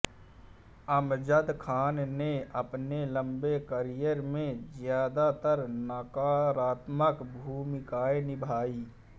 अमजद खान ने अपने लंबे करियर में ज्यादातर नकारात्मक भूमिकाएँ निभाईं